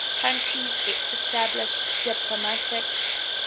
countries established diplomatic